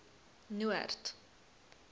noord